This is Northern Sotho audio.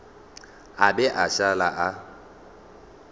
a be a šale a